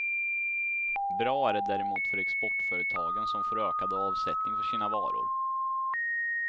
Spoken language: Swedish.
Bra är det däremot för exportföretagen som får ökad avsättning för sina varor.